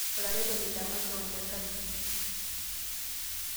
olaretoni le makewon le dajiti